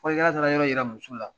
Fɔlikɛlaw taara yɔrɔ yira muso la